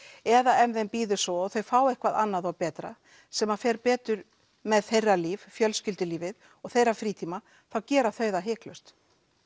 eða ef þeim býður svo að þau fá eitthvað annað og betra sem að fer betur með þeirra líf fjölskyldulífið og þeirra frítíma þá gera þau það hiklaust